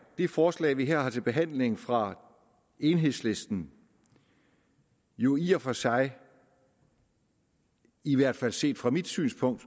det forslag vi her har til behandling fra enhedslisten jo i og for sig i hvert fald set fra mit synspunkt